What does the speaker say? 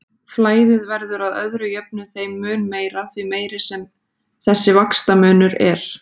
Flæðið verður að öðru jöfnu þeim mun meira, því meiri sem þessi vaxtamunur er.